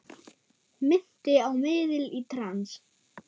Minnti á miðil í trans.